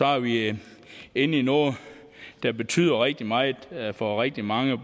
er vi inde i noget der betyder rigtig meget for rigtig mange